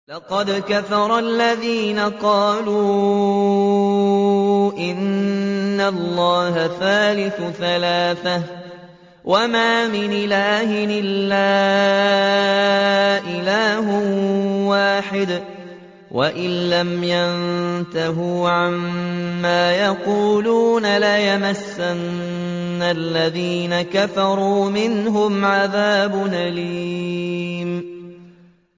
لَّقَدْ كَفَرَ الَّذِينَ قَالُوا إِنَّ اللَّهَ ثَالِثُ ثَلَاثَةٍ ۘ وَمَا مِنْ إِلَٰهٍ إِلَّا إِلَٰهٌ وَاحِدٌ ۚ وَإِن لَّمْ يَنتَهُوا عَمَّا يَقُولُونَ لَيَمَسَّنَّ الَّذِينَ كَفَرُوا مِنْهُمْ عَذَابٌ أَلِيمٌ